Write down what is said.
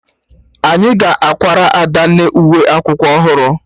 Anyị ga-akwara Adanna uwe akwụkwọ ọhụrụ